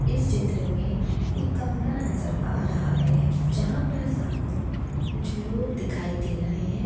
इस चित्र मे एक कमरा नजर आ रहा है। जहा पर सामने कुछ लोग दिखाई दे रहे है।